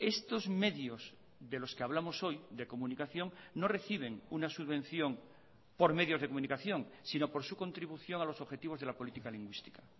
estos medios de los que hablamos hoy de comunicación no reciben una subvención por medios de comunicación sino por su contribución a los objetivos de la política lingüística